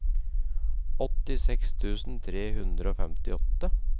åttiseks tusen tre hundre og femtiåtte